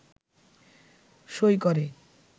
সই করে